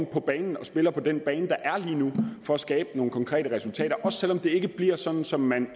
på banen og spiller på den bane der er lige nu for at skabe nogle konkrete resultater også selv om det ikke bliver sådan som man